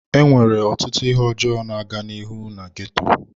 Enwere ọtụtụ ihe ọjọọ na-aga n'ihu na ghetto.